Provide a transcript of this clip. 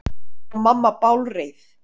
Og mamma bálreið.